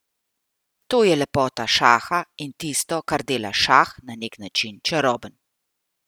To je lepota šaha in tisto, kar dela šah na nek način čaroben.